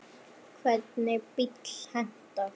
Hvernig bíll hentar?